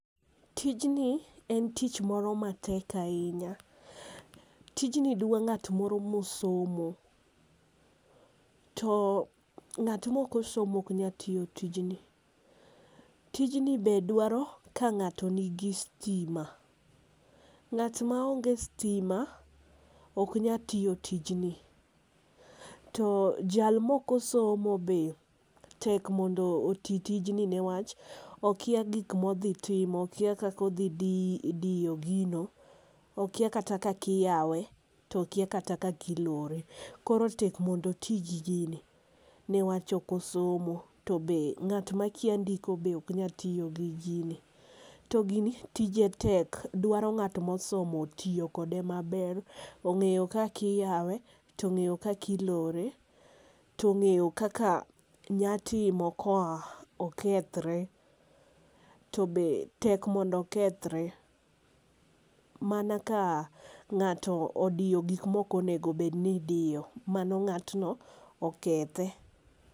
Tijni en tich moro ma tek ainya. Tijni dwa ng'at moro ma osomo to ng'at ma ok osomo ok nya tiyo tijni i .Tijni be dwaro ka ng'ato ni gi stima, ng'at ma onge stima ok nya tiyo tijni to jal ma ok osomo be tek mondo oti tijni ne wach okia gik mo odhi timo, okia kaka odhi diyo gino, okia kata kaka iyawe to okia kata kaka ilore. Koro tek mondo iti gi gini ne wach ok osomo to be ng'at ma kia ndiko be ok nya tiyo gi gini. To gini tije tek dwaro ngat ma osomo tiyo kode ma ber ong'eyo kaka iyawe, ong'eyo ka ilore .To ong'eyo kaka nya timo ka okethre to be tek mondo okethre, mana ka ng'ato odiyo gik ma ok onego bed ni idiyo. Mano ng'atno okethe.